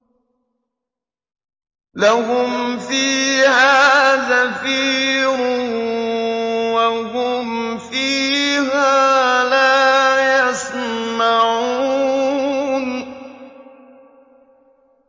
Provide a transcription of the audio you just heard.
لَهُمْ فِيهَا زَفِيرٌ وَهُمْ فِيهَا لَا يَسْمَعُونَ